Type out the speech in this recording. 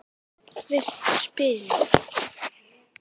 Viltu spila?